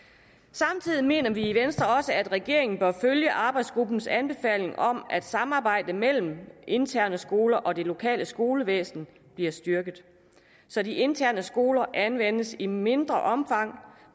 samtidig mener vi i venstre også at regeringen bør følge arbejdsgruppens anbefaling om at samarbejde mellem interne skoler og det lokale skolevæsen bliver styrket så de interne skoler anvendes i mindre omfang